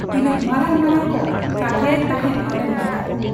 ᱛᱤᱱᱟᱹᱜ ᱢᱟᱨᱟᱝ ᱢᱟᱨᱟᱝ ᱠᱚ ᱠᱟᱛᱷᱟ ᱭᱮᱫ ᱛᱟᱦᱮᱸᱫ ᱱᱚᱱᱰᱮᱱ ᱱᱮᱛᱟᱠᱚ ᱾